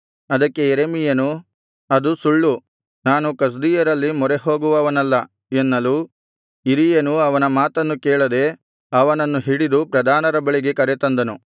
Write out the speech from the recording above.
ಅದಕ್ಕೆ ಯೆರೆಮೀಯನು ಅದು ಸುಳ್ಳು ನಾನು ಕಸ್ದೀಯರಲ್ಲಿ ಮೊರೆಹೋಗುವವನಲ್ಲ ಎನ್ನಲು ಇರೀಯನು ಅವನ ಮಾತನ್ನು ಕೇಳದೆ ಅವನನ್ನು ಹಿಡಿದು ಪ್ರಧಾನರ ಬಳಿಗೆ ಕರೆತಂದನು